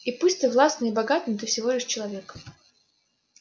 и пусть ты властный и богатый но ты всего лишь человек